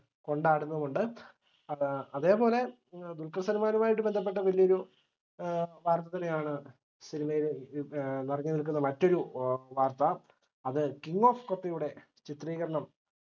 കൊണ്ടാടുന്നുമുണ്ട്. അതേ അതേപോലെ ദുൽഖർസൽമാനുമായിട്ട് ബന്ധപ്പെട്ട വലിയൊരു ഏർ വാർത്തതന്നെയാണ് cinema യിൽ നിറഞ്ഞുനിൽക്കുന്ന മറ്റൊരു വാർത്ത അത് king of kotha യുടെ ചിത്രീകരണം